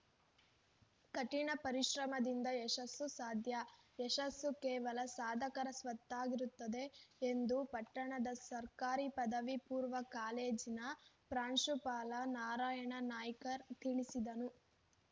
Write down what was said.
ಕಠಿಣ ಪರಿಶ್ರಮದಿಂದ ಯಶಸ್ಸು ಸಾಧ್ಯ ಯಶಸ್ಸು ಕೇವಲ ಸಾಧಕರ ಸ್ವತ್ತಾಗಿರುತ್ತದೆ ಎಂದು ಪಟ್ಟಣದ ಸರ್ಕಾರಿ ಪದವಿ ಪೂರ್ವ ಕಾಲೇಜಿನ ಪ್ರಾಂಶುಪಾಲ ನಾರಾಯಣ ನಾಯ್ಕರ್‌ ತಿಳಿಸಿದರು